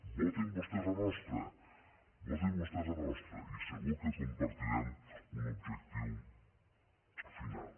votin vostès la nostra votin vostès la nostra i segur que compartirem un objectiu final